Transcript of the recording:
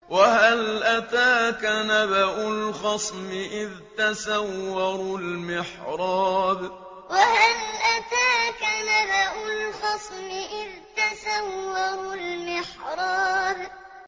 ۞ وَهَلْ أَتَاكَ نَبَأُ الْخَصْمِ إِذْ تَسَوَّرُوا الْمِحْرَابَ ۞ وَهَلْ أَتَاكَ نَبَأُ الْخَصْمِ إِذْ تَسَوَّرُوا الْمِحْرَابَ